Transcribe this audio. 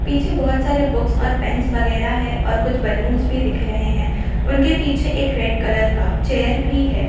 पीछे बहुत सारे बुक्स और पेन्स वागेर है और कुछ बलूनस भी धिक रहे है उनके पीछे एक रेड कलर का चेयर्स भी है।